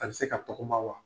A be se ka tɔgɔma wa?